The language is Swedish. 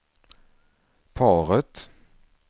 paret